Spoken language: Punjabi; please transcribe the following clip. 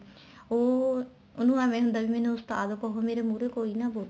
ਉਹ ਉਹਨੂੰ ਐਵੇਂ ਹੀ ਹੁੰਦਾ ਮੈਨੂੰ ਕਹਿਹੋ ਮੇਰੇ ਮੁਹਰੇ ਕੋਈ ਨਾ ਬੋਲੇ